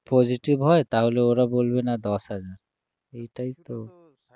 positive হয় ওরা বলবে না দশহাজার এটাই তো